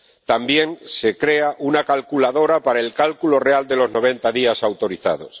También se crea una calculadora para el cálculo real de los 90 días autorizados.